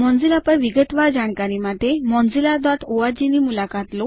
Mozilla પર વિગતવાર જાણકારી માટે mozillaઓર્ગ ની મુલાકાત લો